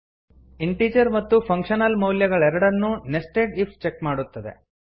integer ಮತ್ತು functional ಮೌಲ್ಯಗಳೆರಡನ್ನೂ nested if check ಮಾಡುತ್ತದೆ